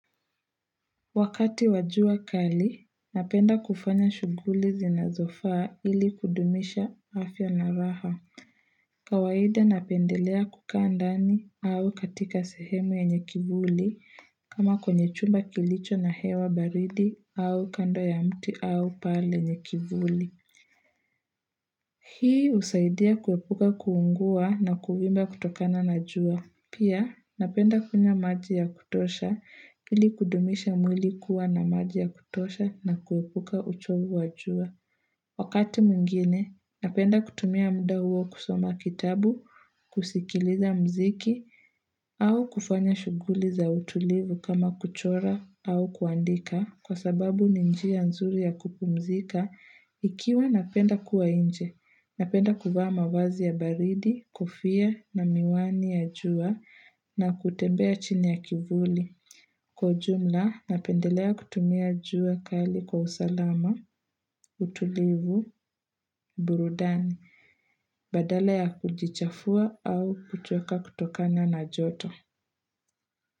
Wakati wajua kali, napenda kufanya shughuli zinazofaa ili kudumisha afya na raha. Kawaida napendelea kukaa ndani au katika sehemu yenye kivuli kama kwenye chumba kilicho na hewa baridi au kando ya mti au pahali penye kivuli. Hii husaidia kuepuka kuungua na kuvimba kutokana na jua. Pia, napenda kunywa maji ya kutosha, ili kudumisha mwili kuwa na maji ya kutosha na kuepuka uchovu wa jua. Wakati mwingine, napenda kutumia muda huo kusoma kitabu, kusikiliza mziki, au kufanya shughuli za utulivu kama kuchora au kuandika, kwa sababu ni njia nzuri ya kupumzika, ikiwa napenda kuwa inje. Napenda kuvaa mavazi ya baridi, kofia na miwani ya jua na kutembea chini ya kivuli. Kwa ujumla, napendelea kutumia jua kali kwa usalama, utulivu, burudani, badala ya kujichafua au kuchoka kutokana na joto.